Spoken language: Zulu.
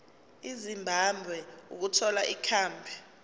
ezimbabwe ukuthola ikhambi